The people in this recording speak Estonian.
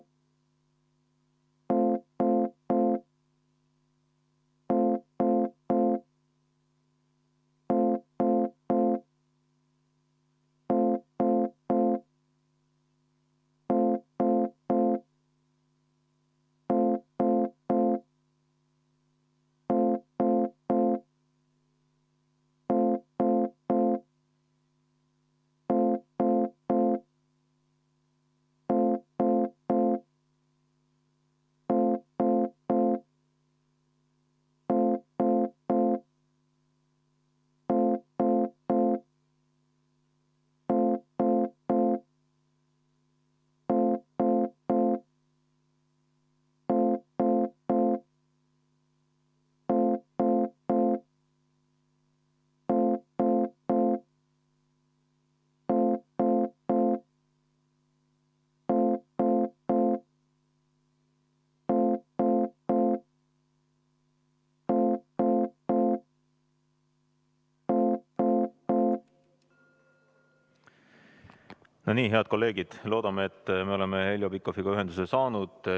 No nii, head kolleegid, loodame, et me oleme Heljo Pikhofiga ühenduse saanud.